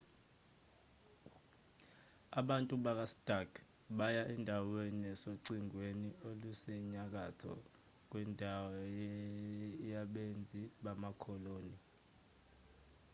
abantu bakastark baya endaweni esocingweni olusenyakatho kwendawo yabenzi bamakoloni